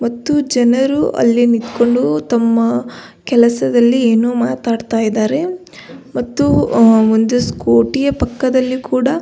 ಮತ್ತು ಜನರು ಅಲ್ಲಿ ನಿಂತ್ಕೊಂಡು ತಮ್ಮ ಕೆಲಸದಲ್ಲಿ ಏನೋ ಮಾತಾಡ್ತಾ ಇದ್ದಾರೆ ಮತ್ತು ಆ ಒಂದು ಸ್ಕೂಟಿ ಯ ಪಕ್ಕದಲ್ಲಿ ಕೂಡ--